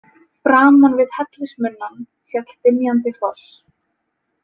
Framan við hellismunnann féll dynjandi foss.